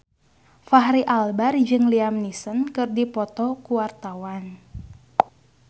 Fachri Albar jeung Liam Neeson keur dipoto ku wartawan